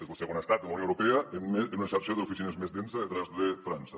és el segon estat de la unió europea amb una xarxa d’oficines més densa detràs de frança